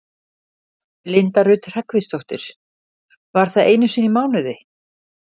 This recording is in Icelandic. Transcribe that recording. Linda Rut Hreggviðsdóttir: Var það einu sinni í mánuði?